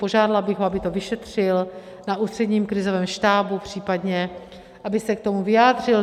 Požádala bych ho, aby to vyšetřil na Ústředním krizovém štábu případně, aby se k tomu vyjádřil.